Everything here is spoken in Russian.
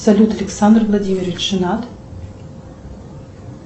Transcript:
салют александр владимирович женат